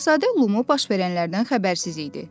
Şahzadə Lumu baş verənlərdən xəbərsiz idi.